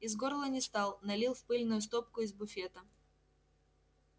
из горла не стал налил в пыльную стопку из буфета